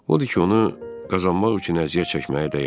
Odur ki, onu qazanmaq üçün əziyyət çəkməyə dəyər.